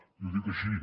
i ho dic així